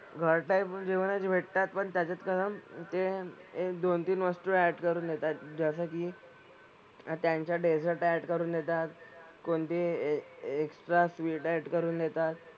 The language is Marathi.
घर टाईप जेवणच भेटतात पण त्याच्यात ते एक दोन-तीन वस्तू ऍड करून देतात. जसं की त्यांच्या डेझर्ट ऍड करून देतात. कोणती एक्सट्रा स्वीट ऍड करून देतात.